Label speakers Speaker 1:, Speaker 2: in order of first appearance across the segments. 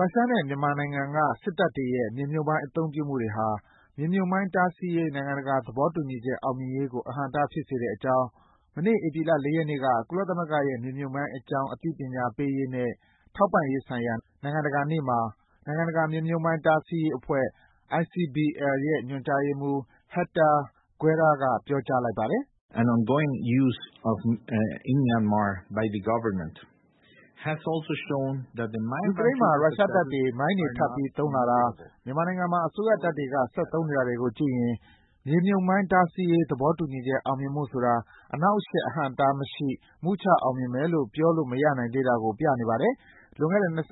Speaker 1: ရုရှားနဲ့မြန်မာနိုင်ငံကစစ်တပ်တွေရဲ့ မြေမြှုပ်မိုင်းအသုံးပြုမှုတွေဟာ မြေမြှုပ်မိုင်းတားဆီးရေး နိုင်ငံတကာ သဘောတူညီချက် အောင်မြင်ရေးကို အဟန့်အတားဖြစ်စေတဲ့အကြောင်း မနေ့ ဧပြီလ ၄ ရက်နေ့က ကုလသမဂ္ဂရဲ့ မြေမြှုပ်မိုင်းအကြောင်း အသိပညာပေးရေးနဲ့ ထောက်ပံ့ရေးဆိုင်ရာ နိုင်ငံတကာနေ့မှာ နိုင်ငံတကာ မြေမြုပ်မှိုင်း တားဆီးရေးအဖွဲ့ ညွန်ကြားရေးမှူး Hector Guerra က ပြောကြားလိုက်ပါတယ်။
Speaker 2: “ယူကရိန်းမှာ ရု
Speaker 1: ရ
Speaker 2: ှားတပ်တွေ မိုင်းတွေထပ်ပြီး
Speaker 1: သုံးလာတာ၊ မြန်မာနိုင်ငံမှာအစိုးရတပ်တွေက ဆက်သုံးနေတာတွေကိုကြည့်ရင် မြေမြှုပ်မိုင်း တားဆီးရေး သဘောတူညီချက် အောင်မြင်ဖို့ဆိုတာ အနှောင့်အယှက် အဟန့် အတားမရှိ မုချအောင်မြင်မယ်လို့ ပြောလို့မရနိုင်သေးတာကို ပြနေပါတယ်။ လွန်ခဲ့တဲ့ ၂၅ နှစ်က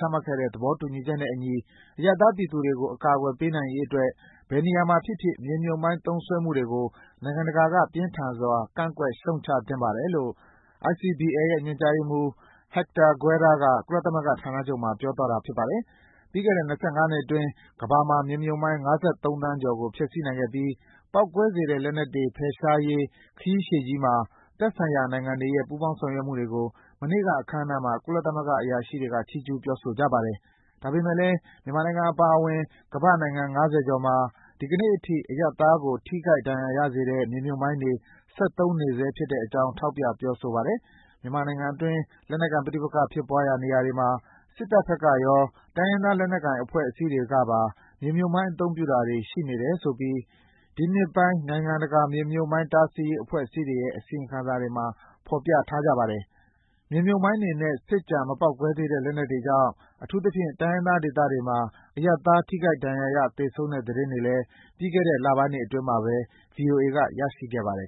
Speaker 1: ချမှတ်ခဲ့တဲ့ သဘောတူညီနဲ့အညီ အရပ်သားပြည်သူတွေကို အကာကွယ်ပေးနိုင်ရေးအတွက် ဘယ်နေရာမှာဖြစ်ဖြစ် မြေမြုပ်မိုင်း သုံးစွဲမှုတွေကို နိုင်ငံတကာက ပြင်းထန်စွာ ကန့်ကွက်ရှုတ်ချသင့်ပါတယ်..”- လို့ ICBL ရဲ့ ညွန်ကြားရေးမှူး Héctor Guerra က ကုလသမဂ္ဂဌာနချုပ်မှာ ပြောသွားတာပါ။ ပြီးခဲ့တဲ့ ၂၅ နှစ်အတွင်း ကမ္ဘာမှာ မြေမြှုပ်မိုင်း ၅၃ သန်းကျော်ကို ဖျက်ဆီးပစ်နိုင်ခဲ့ပြီး ပေါက်ကွဲစေတဲ့လက်နက်တွေ ဖယ်ရှားရေး ခရီးရှည်ကြီးမှာ သက်ဆိုင်ရာနိုင်ငံတွေရဲ့ ပူးပေါင်းဆောင်ရွက်မှုတွေကို မနေ့က အခမ်းအနားမှာ ကုလသမဂ္ဂ အရာရှိတွေ ချီးကျုးပြောဆိုကြပါတယ်။ ဒါပေမယ့်လည်း မြန်မာနိုင်ငံအပါအဝင် ကမ္ဘာ့နိုင်ငံ ငါးဆယ်ကျော်မှာ ဒီနေ့အထိ အရပ်သားတွေကို ထိခိုက်ဒဏ် ရာရစေတဲ့ မြေမြှုပ်မိုင်းတွေ ဆက်သုံးနေဆဲဖြစ်တဲ့အကြောင်း ထောက်ပြ ပြောဆိုတာပါ။ မြန်မာနိုင်ငံအတွင်း လက်နက်ကိုင် ပဋိပက္ခဖြစ်ရာနေရာတွေမှာ စစ်တပ်ဘက်ကရော၊ တိုင်းရင်းသားလက်နက်ကိုင်အဖွဲ့အစည်းတွေကပါ မြေမြှုပ်မိုင်းသုံးတာတွေ ရှိနေတယ်ဆိုပြီး ဒီနှစ်ပိုင်း နိုင်ငံတကာ မြေမြှုပ်မိုင်းတားဆီးရေး အဖွဲ့အစည်းတွေရဲ့ အစီရင်ခံစာတွေမှာ ဖေါ်ပြထားကြတယ်။ မြေမြှုပ်မိုင်းတွေနဲ့ စစ်ကျန် မပေါက်ကွဲသေးတဲ့ လက်နက်တွေကြောင့် အထူးသဖြင့် တိုင်းရင်းသားဒေသတွေမှာ အရပ်သားတွေ ထိခိုက်ဒဏ်ရာရ သေဆုံးတဲ့ သတင်းတွေလည်း ပြီးခဲ့တဲ့လပိုင်းတွေအတွင်းမှာပဲ ဗွီအိုအေက ရရှိခဲ့ပါတယ်